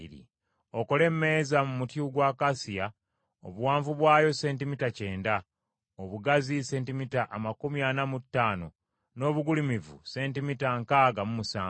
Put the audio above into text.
“Okole emmeeza mu muti gwa akasiya, obuwanvu bwayo sentimita kyenda, obugazi sentimita amakumi ana mu ttaano, n’obugulumivu sentimita nkaaga mu musanvu.